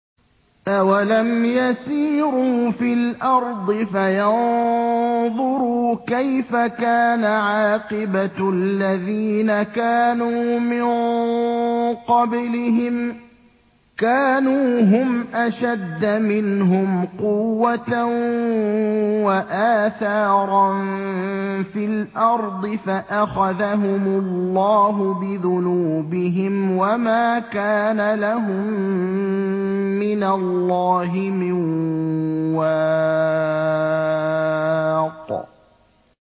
۞ أَوَلَمْ يَسِيرُوا فِي الْأَرْضِ فَيَنظُرُوا كَيْفَ كَانَ عَاقِبَةُ الَّذِينَ كَانُوا مِن قَبْلِهِمْ ۚ كَانُوا هُمْ أَشَدَّ مِنْهُمْ قُوَّةً وَآثَارًا فِي الْأَرْضِ فَأَخَذَهُمُ اللَّهُ بِذُنُوبِهِمْ وَمَا كَانَ لَهُم مِّنَ اللَّهِ مِن وَاقٍ